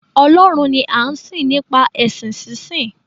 Ọlọ́run ni a ń sìn nípa èsìn sí sìn